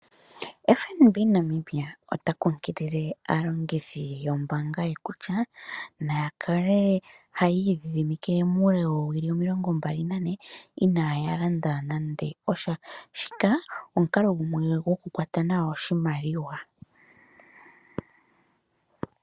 FNB Namibia ota kunkilile aalongithi yombaanga ye kutya nayakale hayi dhidhimike mule woowili omililongo mbali na ne iinaya landa nande osha. Shika omukalo gumwe wo ku kwata nawa oshimaliwa.